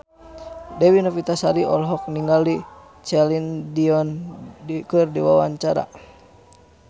Dewi Novitasari olohok ningali Celine Dion keur diwawancara